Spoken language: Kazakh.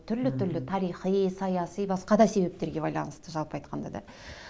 түрлі түрлі тарихи саяси басқа да себептерге байанысты жалпы айтқанда да